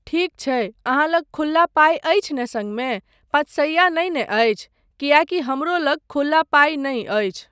ठीक छै, अहाँ लग खुल्ला पाइ अछि ने सङ्गमे, पाँच सइया नहि ने अछि, किएकी हमरो लग खुल्ला पाइ नहि अछि।